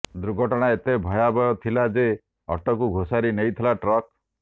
ଦୁର୍ଘଟଣା ଏତେ ଭୟାବହ ଥିଲା ଯେ ଅଟୋକୁ ଘୋଷାରି ନେଇଥିଲା ଟ୍ରକ